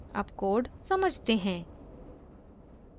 अब कोड समझते हैं